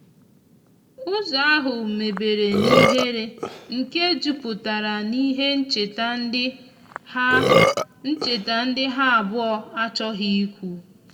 ụzo ahu mebere n'ihere nke juputara n'ihe ncheta ndi ha ncheta ndi ha abuo achoghi ikwu